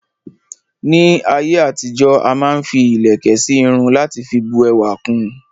Ní ayé àtijó,a máa n fi ilẹ̀kẹ̀ sí Irun lati fi bu ẹwà kun